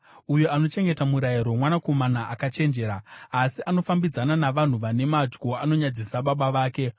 Uyo anochengeta murayiro mwanakomana akachenjera, asi anofambidzana navanhu vane madyo anonyadzisa baba vake.